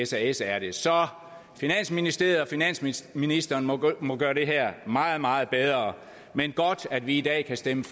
sas er det så finansministeriet og finansministeren må gøre det her meget meget bedre men godt at vi i dag kan stemme